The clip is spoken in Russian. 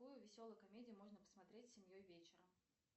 какую веселую комедию можно посмотреть с семьей вечером